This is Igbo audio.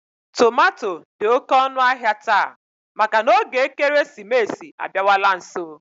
Tomato dị oké ọnụahịa taa maka na oge ekeresimesi abịawala nso